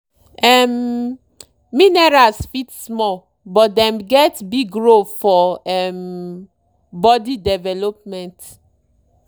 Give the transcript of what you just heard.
um minerals fit small but dem get big role for um body development.